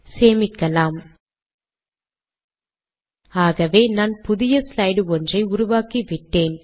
சேமிக்கலாம் ஆகவே நான் புதிய ஸ்லைட் ஒன்றை உருவாக்கிவிட்டேன்